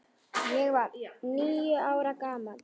Ég var níu ára gamall.